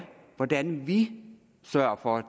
hvordan vi sørger for